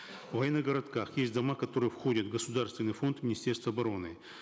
в военных городках есть дома которые входят в государственный фонд министерства обороны